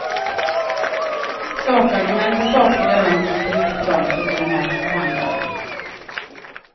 Sakargument och sakliga rön biter inte på dem, suckar en norsk förhandlare.